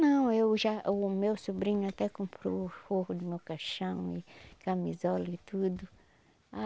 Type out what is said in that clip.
Não, eu já... o meu sobrinho até comprou o forro do meu caixão e camisola e tudo ah